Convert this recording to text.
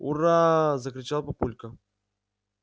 ура закричал папулька